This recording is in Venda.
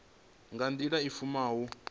nga nḓila i fushaho u